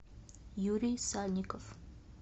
юрий сальников